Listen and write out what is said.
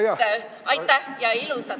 Nii et aitäh!